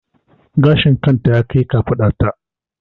Gashin kan ta ya kai kafaɗan ta